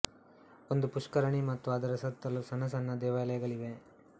ಒಂದು ಪುಷ್ಕರಣಿ ಮತ್ತು ಅದರ ಸುತ್ತಲೂ ಸಣ್ಣ ಸಣ್ಣ ದೇವಾಲಯಗಳಿವೆ